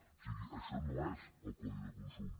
o sigui això no és el codi de consum